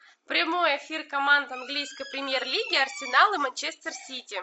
прямой эфир команд английской премьер лиги арсенал и манчестер сити